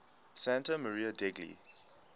santa maria degli